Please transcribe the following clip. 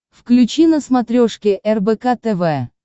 включи на смотрешке рбк тв